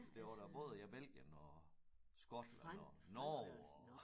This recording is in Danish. Det var da både ja Belgien og Skotland og Norge og